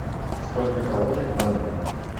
сколько калорий в банане